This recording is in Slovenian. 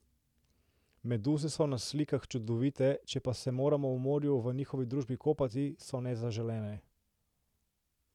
Meduze so na slikah čudovite, če pa se moramo v morju v njihovi družbi kopati, so nezaželene.